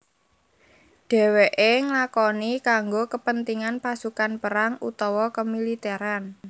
Dewèké nglakoni kanggo kepentingan pasukan perang utawa kemiliteran